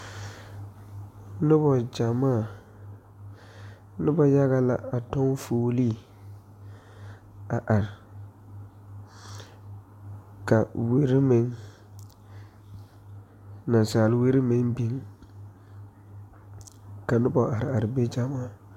Noba gyamaa noba yaga la a tɔŋ fuulii ka a wiri meŋ nansaale wiri meŋ biŋ ka noba are are be gyamaa.